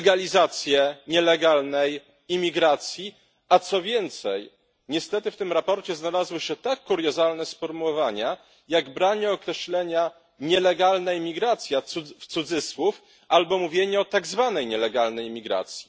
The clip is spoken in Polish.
legalizację nielegalnej imigracji, a co więcej, niestety w tym sprawozdaniu znalazły się tak kuriozalne sformułowania, jak branie określenia nielegalna imigracja w cudzysłów albo mówienie o tak zwanej nielegalnej imigracji.